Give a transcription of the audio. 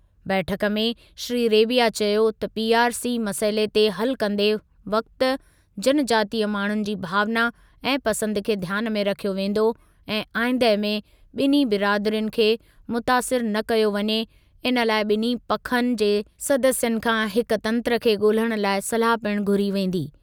बैठकु में श्री रेबिया चयो त पीआरसी मसइले खे हलु कंदे वक़्ति जनजातीय माण्हुनि जी भावना ऐं पसंदि खे ध्यानु में रखियो वेंदो ऐं आईंदह में ॿिन्ही बिरादिरियुनि खे मुतासिरु न कयो वञे इन लाइ ॿिन्हीं पखनि जे सदस्यनि खां हिकु तंत्रु खे ॻोल्हणु लाइ सलाह पिणु घुरी वेंदी।